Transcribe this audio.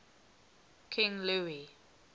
king louis